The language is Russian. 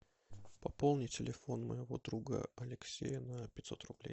пополни телефон моего друга алексея на пятьсот рублей